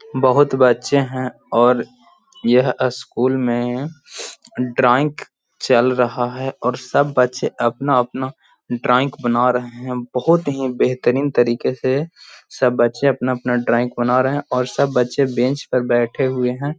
बहुत बच्चे हैं और यह स्कुल में अम ड्राइंग चल रहा है और सब बच्चे अपना-अपना ड्राइंग बना रहे हैं बहुत ही बेहतरीन तरीके से सब बच्चे अपना-अपना ड्राइंग बना रहे हैं और सब बच्चे बेंच पर बैठे हुए हैं।